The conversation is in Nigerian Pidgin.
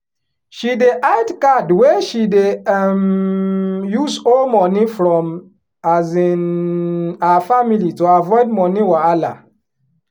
she dey hide card wey she dey um use owe money from um her family to avoid money wahala.